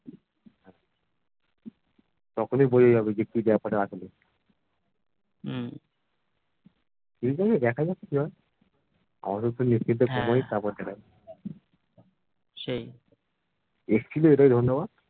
তখনি বুঝে যাবো যে কি বেপার আছে এবারে দেখা যাক কি হয় আপাদত news টিয়ুস তা শোনাক তারপর দেখা যাবে